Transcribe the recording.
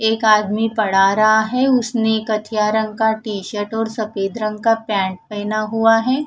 एक आदमी पढ़ा रहां है उसने एक कथिया रंग का टीशर्ट और सफेद रंग का पेंट पहना हुआ है।